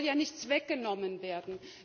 Es soll ja nichts weggenommen werden!